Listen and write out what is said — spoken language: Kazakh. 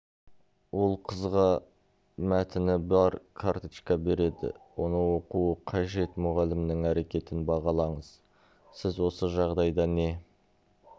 ол қызға мәтіні бар карточка береді оны оқуы қажет мұғалімнің әрекетін бағалаңыз сіз осы жағдайда не